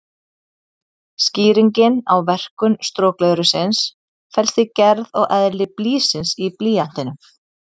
Skýringin á verkun strokleðursins felst í gerð og eðli blýsins í blýantinum.